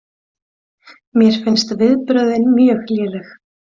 Mér finnst viðbrögðin mjög léleg